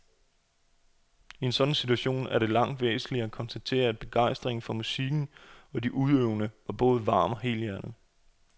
I sådan en situation er det langt væsentligere at konstatere, at begejstringen for musikken og de udøvende var både varm og helhjertet.